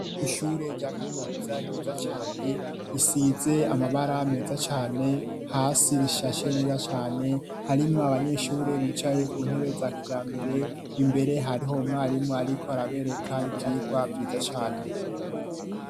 Ishure rya kaminuza ryiza cane risize amabara meza cane, hasi rishashe neza cane harimo abanyeshure bicaye ku ntebe za kijambere imbere hariho umwarimu ariko arabereka ivyirwa vyiza cane.